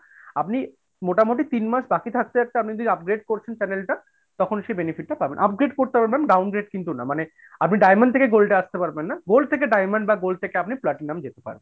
আপনি মোটামুটি তিন মাস বাকি থাকতে থাকতে আপনি যদি যদি upgrade করছেন channel টা তখন সে benefit টা পাবেন। upgrade করতে পারবেন downgrade কিন্তু না মানে আপনি diamond থেকে gold এ আসতে পারবেন না, gold থেকে diamond বা gold থেকে আপনি platinum যেতে পারবেন।